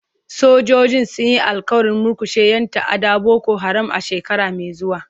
Sojojin sun yi alƙawarin murkushe 'yan ta'addar Boko Haram a shekara mai zuwa.